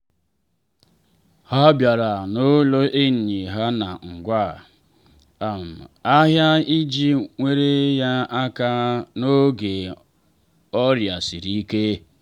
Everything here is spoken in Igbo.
ha bịara n'ụlọ enyi ha na ngwa um ahịa iji nyere ya aka n’oge ọrịa siri ike.